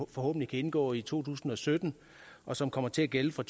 forhåbentlig kan indgå i to tusind og sytten og som kommer til at gælde fra